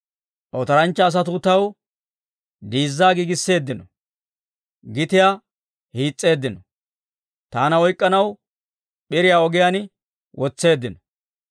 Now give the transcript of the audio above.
Otoranchcha asatuu taw diizzaa giigisseeddino; gitiyaa hiis's'eeddino; taana oyk'k'anaw p'iriyaa ogiyaan wotseeddino.